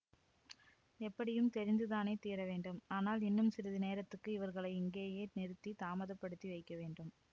எப்படியும் தெரிந்து தானே தீரவேண்டும் ஆனால் இன்னும் சிறிது நேரத்துக்கு இவர்களை இங்கேயே நிறுத்தித் தாமதப்படுத்தி வைக்கவேண்டும்